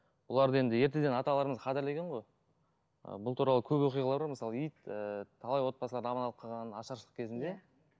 бұларды енді ертеден аталарымыз қадірлеген ғой ы бұл туралы көп оқиғалар бар мысалы ит ііі талай отбасыларды аман алып қалған ашаршылық кезінде